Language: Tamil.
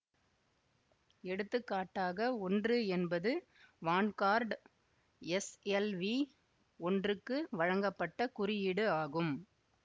எடுத்து காட்டாக ஒன்று என்பது வான்கார்ட் எஸ்எல்வி ஒன்றுக்கு வழங்கப்பட்ட குறியீடு ஆகும்